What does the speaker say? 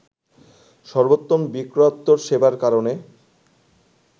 সর্বোত্তম বিক্রয়োত্তর সেবার কারণে